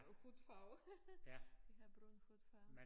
Hudfarve de har brun hudfarve